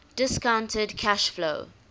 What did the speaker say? discounted cash flow